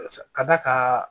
Ka d'a kan